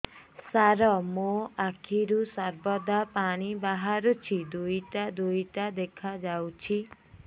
ସାର ମୋ ଆଖିରୁ ସର୍ବଦା ପାଣି ବାହାରୁଛି ଦୁଇଟା ଦୁଇଟା ଦେଖାଯାଉଛି